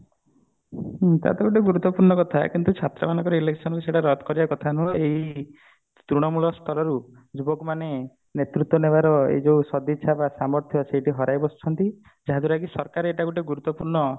ହୁଁ ତା ତ ଗୋଟେ ଗୁରୁତ୍ଵପୂର୍ଣ କଥା କିନ୍ତୁ ଛାତ୍ର ମାନନକର election ସେଟାକୁ ରଦ୍ଧ କରିବା କଥା ନୁହେଁ ଏଇ ପୁରୁଣା ତୃଣମୂଳ ସ୍ତରରୁ ଯୁବକ ମାନେ ନେତୃତ୍ଵ ନବାର ଏଇ ଯୋଉ ସଦ୍ଇଛା ବା ସାମର୍ଥ୍ୟ ସେଇଠି ହରାଇ ବସିଛନ୍ତି ଯାହାଦ୍ୱାରା କି ସରକାର ଏଇଟା ଗୋଟେ ଗୁରୁତ୍ବପୂର୍ଣ